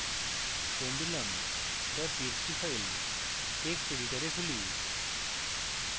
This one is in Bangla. pendulum txt file text editor খুলি